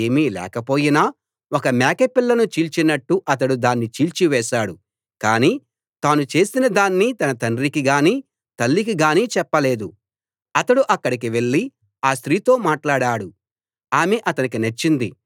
యెహోవా ఆత్మ అకస్మాత్తుగా అతణ్ణి ఆవరించాడు దాంతో చేతిలో ఏమీ లేక పోయినా ఒక మేకపిల్లను చీల్చినట్టు అతడు దాన్ని చీల్చి వేశాడు కాని తాను చేసినదాన్ని తన తండ్రికి గానీ తల్లికి గానీ చెప్పలేదు